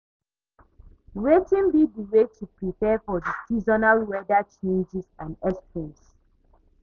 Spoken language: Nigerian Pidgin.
Wetin be di way to prepare for di seasonal weather changes and extremes?